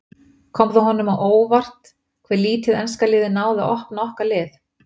Kom það honum á óvart hve lítið enska liðið náði að opna okkar lið?